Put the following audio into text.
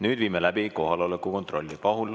Nüüd viime läbi kohaloleku kontrolli.